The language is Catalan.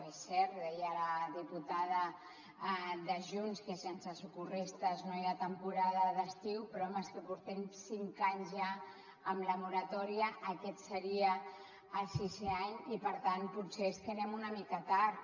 és cert ho deia la diputada de junts que sense socorristes no hi ha temporada d’estiu però home és que portem cinc anys ja amb la moratòria aquest seria el sisè any i per tant potser és que anem una mica tard